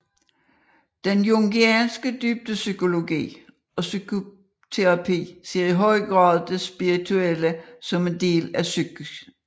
Den jungianske dybdepsykologi og psykoterapi ser i høj grad det spirituelle som en del af psyken